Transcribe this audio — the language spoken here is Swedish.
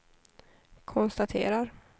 konstaterar